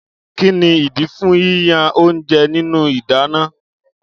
Kíni ìdí fún yíyan oúnjẹ nínú ìdáná?